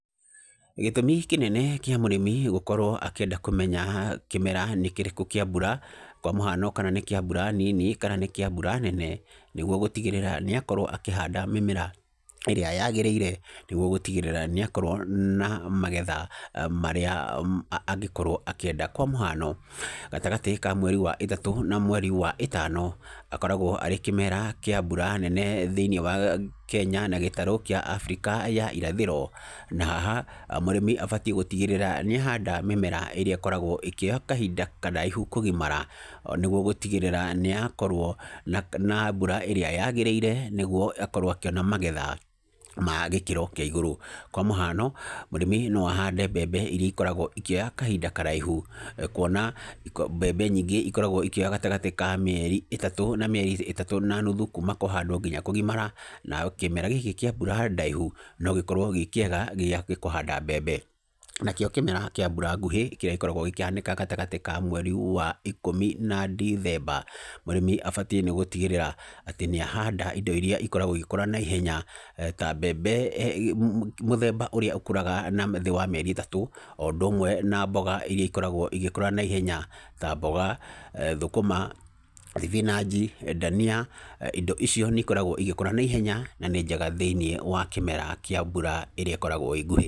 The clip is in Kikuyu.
Gĩtũmi kĩnene kĩa mũrĩmi gũkorwo akĩenda kũmenya kĩmera nĩ kĩrĩkũ kĩa mbura, kwa mũhano kana nĩ kĩa mbura nini, kana nĩ kĩa mbura nene, nĩguo gũtigĩrĩra nĩ akorwo akĩhanda mĩmera arĩa yagĩrĩire, nĩguo gũtigĩrĩra nĩ akorwo na magetha marĩa angĩkorwo akĩenda, kwa mũhano, gatagatĩ ka mweri wa ĩtatũ, na mweri wa ĩtano, akoragwo arĩ kĩmera kĩa mbura nene thĩinĩ wa Kenya, na gĩtarũ kĩa Africa ya irathĩro, na haha mũrĩmi abatiĩ gũtigĩrĩra nĩ ahanda mĩmera ĩrĩa ĩkoragwo ĩkĩoya kahinda karaihu kũgimara, nĩguo gũtigĩrĩra nĩyakorwo na mbura ĩrĩa yagĩrĩire, nĩguo akorwo akĩona magetha magĩkĩro kĩa igũrũ. Kwa mũhano, mũrĩmi no ahande mbembe iria ikoragwo ikĩoya kahinda karaihu, kuona mbembe nyingĩ ikoragwo ikioya gatagatĩ ka mĩeri ĩtatũ, na mĩeri ĩtatũ na nuthu, kuuma kũhandwo nginya kũgimara, na kĩmera gĩkĩ kĩa mbura ndaihu no gĩkorwo gĩ kĩega gĩa kũhanda mbembe, nakĩo kĩmera kĩa mbura nguhĩ, kĩrĩa gĩkoragwo gĩkĩhanĩka gatagatĩ ka mweri wa ikũmi na ndithemba, mũrĩmi abatiĩ nĩ gũtigĩrĩra atĩ nĩ ahanda indo iria ikoragwo igĩkũra na ihenya, ta mbembe mũ mũthemba ũrĩa ũkũraga na thĩ wa mĩeri ĩtatũ, o ũndũ ũmwe na mboga iria ikoragwo igĩkũra naihenya, ta mboga, thũkũma thibinanji, ndania, indo icio nĩ ikoragwo igĩkora naihenya, na nĩ njega thĩinĩ wa kĩmera kĩa mbura ĩrĩa ĩkoragwo ĩ nguhĩ.